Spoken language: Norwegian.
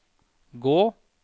gå